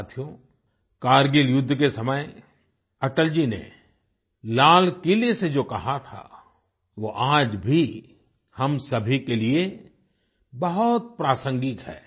साथियो कारगिल युद्ध के समय अटल जी ने लालकिले से जो कहा था वो आज भी हम सभी के लिए बहुत प्रासंगिक है